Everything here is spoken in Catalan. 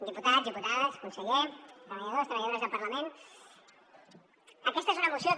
diputats diputades conseller treballadors i treballadores del parlament aquesta és una moció que